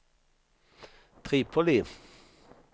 Tripoli